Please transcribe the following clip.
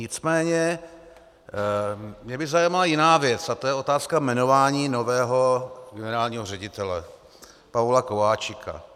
Nicméně mě by zajímala jiná věc a to je otázka jmenování nového generálního ředitele Pavola Kováčika.